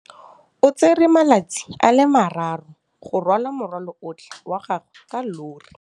O tsere malatsi a le marraro go rwala morwalo otlhe wa gagwe ka llori.